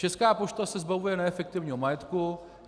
Česká pošta se zbavuje neefektivního majetku.